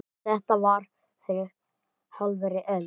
Þetta var fyrir hálfri öld.